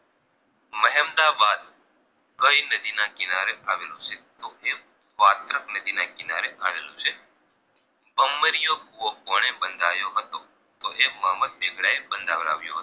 કઈ નદી ના કીનારે આવેલું છે તો એ વાત્રક નદી ના કીનારે આવેલું છે ભમરીયો કુવો કોણે બંધાયો હતો તો એ મોહમદ બેગડા એ બંધાવરાવ્યો